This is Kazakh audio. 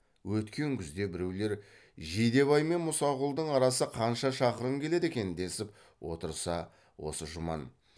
өткен күзде біреулер жидебай мен мұсақұлдың арасы қанша шақырым келеді екен десіп отырса осы жұман